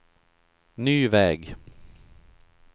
ny väg